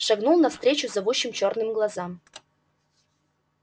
шагнул навстречу зовущим чёрным глазам